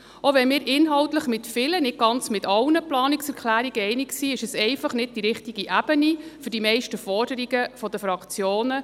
Auch wenn wir inhaltlich mit vielen – nicht ganz mit allen – Planungserklärungen einverstanden sind, ist dies einfach nicht die richtige Ebene für die meisten Forderungen der Fraktionen.